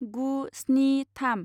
गु स्नि थाम